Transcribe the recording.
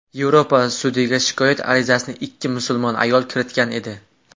Yevropa sudiga shikoyat arizasini ikki musulmon ayol kiritgan edi.